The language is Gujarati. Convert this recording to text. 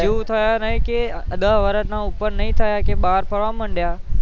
એવું થયાં નઇ કે દસ વર્ષ ના ઉપરના થયાં નહીં કે બાર ફરવા મંડયા